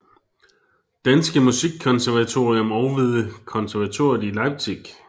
Danske Musikkonservatorium og ved konservatoriet i Leipzig